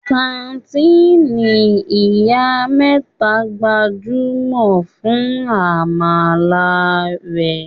Kàńtìnì Ìyá mẹ́ta gbajúmọ̀ fún àmàlà rẹ̀.